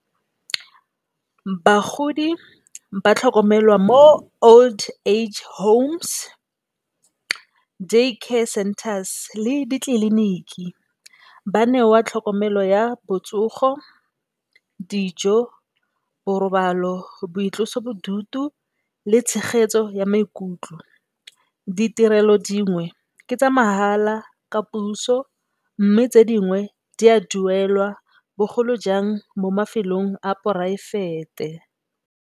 Bagodi ba tlhokomelwa mo old age homes day care centres le ditleliniki ba newa tlhokomelo ya botsogo, dijo, borobalo, boitlosobodutu le tshegetso ya maikutlo ditirelo dingwe ke tsa mahala ka puso mme, tse dingwe di a duelwa bogolo jang mo mafelong a poraefete.